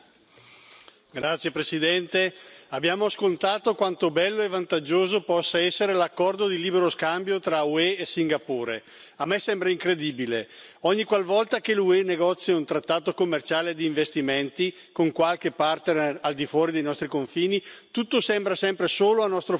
Signor Presidente, onorevoli colleghi, abbiamo ascoltato quanto bello e vantaggioso possa essere l'accordo di libero scambio tra l'UE e Singapore. A me sembra incredibile ogniqualvolta l'UE negozia un trattato commerciale di investimenti con qualche partner al di fuori dei nostri confini tutto sembra sempre solo a nostro favore.